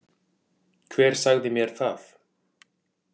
Hver sagði mér það